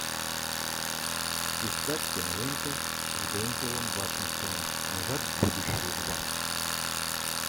искать киноленты с дензелом вашингтоном назад в будущее два